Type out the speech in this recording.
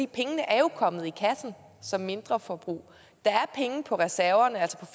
pengene er jo kommet i kassen som mindreforbrug der er penge på reserverne